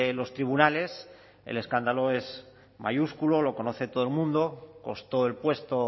los tribunales el escándalo es mayúsculo lo conoce todo el mundo costó el puesto